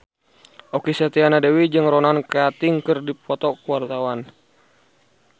Okky Setiana Dewi jeung Ronan Keating keur dipoto ku wartawan